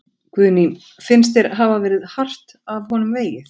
Guðný: Finnst þér hafa verið hart af honum vegið?